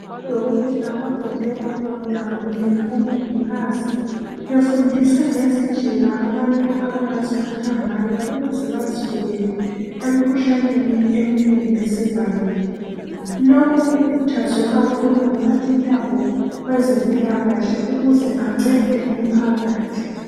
Odokotela babhode babhoda kunye labomongikazi befundisa ngezindlela abantu abangaziphatha ngayo ukuze bazivikele emikhuhlaneni eminengi esivamile. Lokho kukhuthazwe kakhulu ngumphathintambo wezempilakahle ukuze ancede umphakathi.